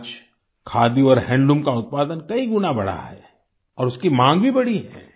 आज खादी और हैंडलूम का उत्पादन कई गुना बढ़ा है और उसकी मांग भी बढ़ी है